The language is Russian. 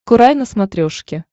курай на смотрешке